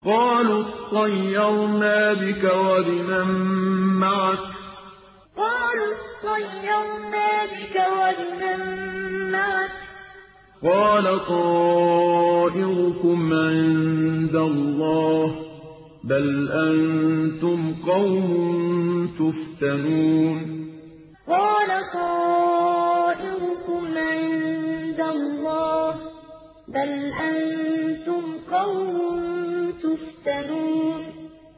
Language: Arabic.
قَالُوا اطَّيَّرْنَا بِكَ وَبِمَن مَّعَكَ ۚ قَالَ طَائِرُكُمْ عِندَ اللَّهِ ۖ بَلْ أَنتُمْ قَوْمٌ تُفْتَنُونَ قَالُوا اطَّيَّرْنَا بِكَ وَبِمَن مَّعَكَ ۚ قَالَ طَائِرُكُمْ عِندَ اللَّهِ ۖ بَلْ أَنتُمْ قَوْمٌ تُفْتَنُونَ